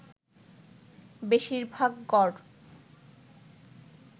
বেশিরভাগ গর